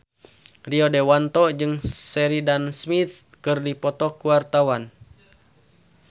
Rio Dewanto jeung Sheridan Smith keur dipoto ku wartawan